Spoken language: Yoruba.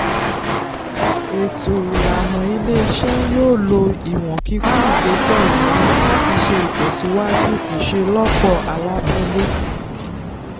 ètò ìlànà ilé-iṣẹ́ yóò lo ìwọ̀n kíkún ìgbésẹ̀ ìnáwó láti ṣe ìtẹ̀síwájú ìṣelọ́pọ̀ alábẹ́lẹ̀.